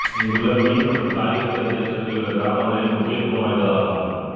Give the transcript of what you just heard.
இங்குள்ள மீன் மற்றும் காய்கறி சந்தை சுற்றியுள்ள கிராமங்களில் முக்கியத்துவம் வாய்ந்ததாகும்